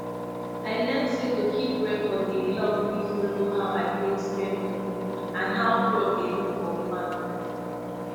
i learn say to keep record dey help me follow how i take spend money and how crop dey do for farm